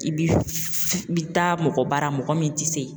I bi taa mɔgɔ bara mɔgɔ min ti se